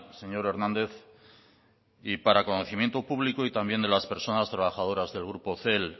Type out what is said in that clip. señor hernández y para conocimiento público y también de las personas trabajadoras del grupo cel